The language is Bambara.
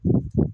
O tuma